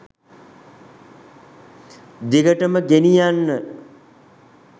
දිගටම ගෙනියන්න.